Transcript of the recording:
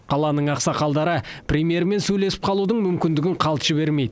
қаланың ақсақалдары премьермен сөйлесіп қалудың мүмкіндігін қалт жібермейді